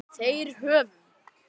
Þeir hefðu